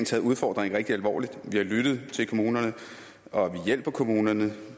taget udfordringen rigtig alvorligt vi har lyttet til kommunerne og vi hjælper kommunerne